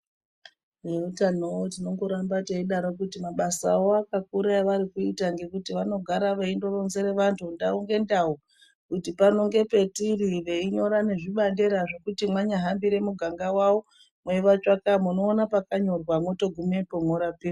Veutanowo tinongoramba teidaro kuti mabasa awo akakura evari kuita, ngekuti vanogara veindoronzere vantu ndau ngendau, kuti pano ngepetiri, veinyora nezvibandera zvekuti mwanyahambire muganga wawo, mweivatsvaka munoona pakanyorwa. Mwotogumepo mworapiwa.